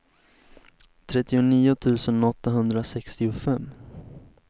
trettionio tusen åttahundrasextiofem